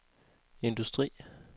industri